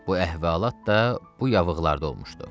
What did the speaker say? Bu əhvalat da bu yavıqlarda olmuşdu.